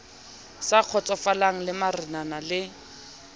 sa kgotsofalang la marenana le